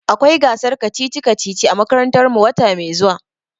Akwai gasar kacici-kacici a makarantar mu wata mai zuwa.